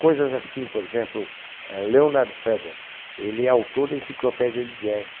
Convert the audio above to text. Coisas assim, por exemplo, ah, Leonard Feather, ele é autor da enciclopédia de jazz.